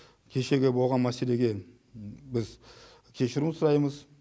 кешегі болған мәселеге біз кешірім сұраймыз